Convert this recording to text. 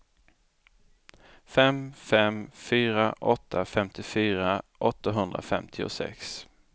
fem fem fyra åtta femtiofyra åttahundrafemtiosex